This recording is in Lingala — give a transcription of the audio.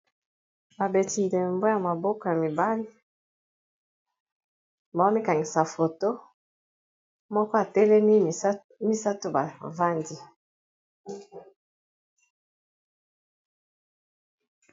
Babeti ndembo ya maboko ya mibale bawo mikanisa foto moko atelemi misato bavandi